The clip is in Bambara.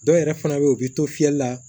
Dɔw yɛrɛ fana bɛ yen u bɛ to fiyɛli la